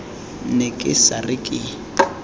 ne ke sa re ke